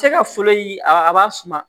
Cɛkɛ folo a b'a suma